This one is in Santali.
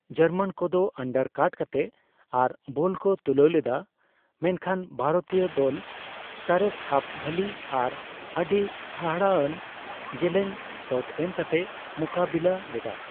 ᱡᱟᱨᱢᱟᱱ ᱠᱚᱫᱚ ᱟᱱᱰᱟᱨ ᱠᱟᱴ ᱠᱟᱛᱮ ᱟᱨ ᱵᱚᱞ ᱠᱚ ᱛᱩᱞᱟᱹᱣ ᱞᱮᱫᱟ, ᱢᱮᱱ ᱠᱷᱟᱱ ᱵᱷᱟᱨᱚᱛᱤᱭᱟᱹ ᱫᱚᱞ ᱥᱚᱨᱮᱥ ᱦᱟᱯᱷᱼᱵᱷᱚᱞᱤ ᱟᱨ ᱟᱹᱰᱤ ᱦᱟᱦᱟᱲᱟᱜᱽᱼᱟᱱ ᱡᱮᱞᱮᱧ ᱥᱚᱴ ᱮᱢ ᱠᱟᱛᱮ ᱢᱩᱠᱟᱹᱵᱤᱞᱟᱹ ᱞᱮᱫᱟ ᱾